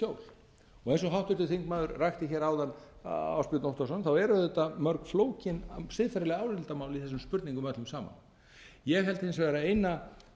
í skjól eins og háttvirtir þingmenn ásbjörn óttarsson rakti hér áðan eru auðvitað mörg flókin siðferðileg álitamál í þessum spurningum öllum saman ég held hins vegar að eina